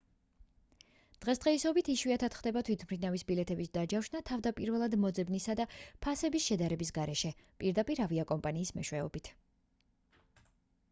დღესდღეობით იშვიათად ხდება თვითმფრინავის ბილეთების დაჯავშნა თავდაპირველად მოძებნისა და ფასების შედარების გარეშე პირდაპირ ავიაკომპანიის მეშვეობით